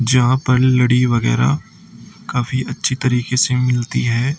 जहां पर लड़ी वगैरा काफी अच्छी तरीके से मिलती है।